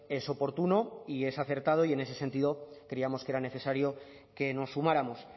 es oportuno y es acertado y en ese sentido creíamos que era necesario que nos sumáramos